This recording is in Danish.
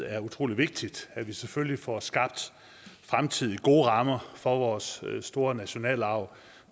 er utrolig vigtigt at vi selvfølgelig får skabt fremtidige gode rammer for vores store nationalarv